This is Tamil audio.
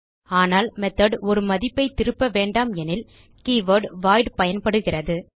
ஆனால் மெத்தோட் ஒரு மதிப்பைத் திருப்ப வேண்டாம் எனில் கீவர்ட் வாய்ட் பயன்படுகிறது